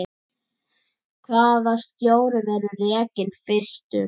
Hvaða stjóri verður rekinn fyrstur?